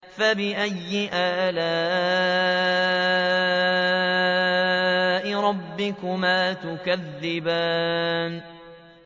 فَبِأَيِّ آلَاءِ رَبِّكُمَا تُكَذِّبَانِ